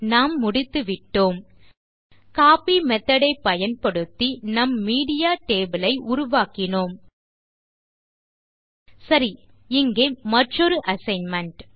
நாம் முடித்துவிட்டோம் copy method ஐ பயன்படுத்தி நம் மீடியா டேபிள் ஐ உருவாக்கினோம் சரி இங்கே மற்றொரு அசைன்மென்ட்